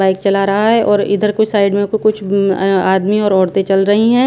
Bike चला रहा हैं और इधर कोई साइड में कु कुछ बूँग ए आदमी और औरतें चल रही हैं।